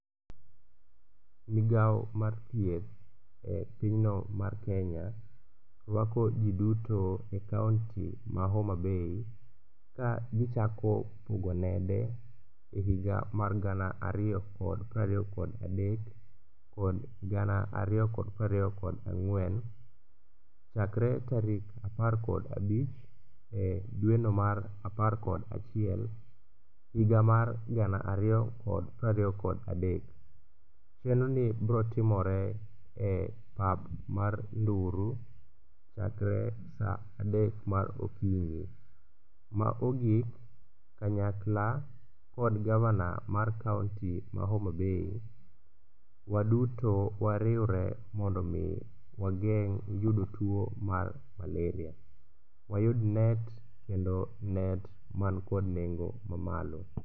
Migao mar thieth e pinyno mar Kenya rwako ji duto e kaonti ma Homabay ka gichako pogo nede e higa mar gana ariyo kod prariyo kod adek kod gana ariyo kod prariyo kod ang'wen chakre tarik apar kod abich e dweno mar apar kod achiel higa mar gana ariyo kod prariyo kod adek. Chenroni brotimore e pap mar Nduru chakre sa adek mar okinyi. Ma ogik, kanyakla kod gavana mar kaonti ma Homabay waduto wariwre mondo omi wageng' yudo tuo mar maleria, wayud net kendo net mankod nengo mamalo.